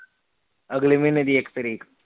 ਅਗਲੇ ਮਹੀਨੇ ਦੀ ਇਕ ਤਾਰੀਕ